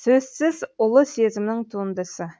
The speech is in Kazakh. сөзсіз ұлы сезімнің туындысы